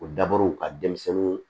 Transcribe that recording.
O daburu ka denmisɛnninw